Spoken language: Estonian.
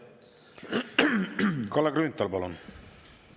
Kalle Grünthal, palun!